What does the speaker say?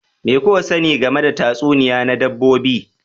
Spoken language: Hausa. Me kuka sani game da tatsuniyoyi na dabbobi